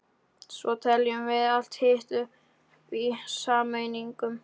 Svo teljum við allt hitt upp í sameiningu.